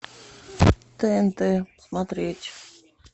тнт смотреть